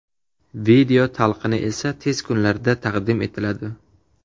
Video talqini esa tez kunlarda, taqdim etiladi.